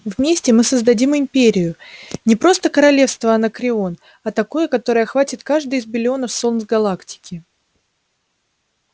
вместе мы создадим империю не просто королевство анакреон а такое которое охватит каждое из биллионов солнц галактики